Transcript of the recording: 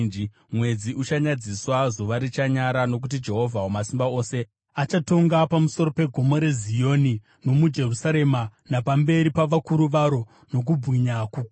Mwedzi uchanyadziswa, zuva richanyara; nokuti Jehovha Wamasimba Ose achatonga pamusoro peGomo reZioni nomuJerusarema, napamberi pavakuru varo, nokubwinya kukuru.